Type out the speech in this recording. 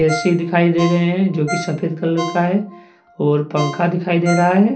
AC दिखाई दे रहे हैं जो की सफेद कलर का है और पंखा दिखाई दे रहा है।